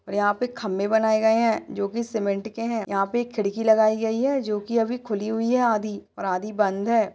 और यहाँ पे खम्बे बनाये गए है जोकि सीमेंट के है यहाँ पर एक खिड़की लगाई है जोकि अभी खुली हुई है आधी और आधी बंद है।